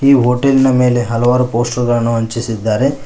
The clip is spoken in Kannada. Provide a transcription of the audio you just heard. ಈ ಹೋಟೆಲ್ ನಾ ಮೇಲೆ ಹಲವಾರು ಪೋಸ್ಟರ್ ಗಳನ್ನು ಹಂಚಿಸಿದ್ದಾರೆ.